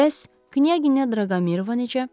Bəs Knyaqinya Draqomirova necə?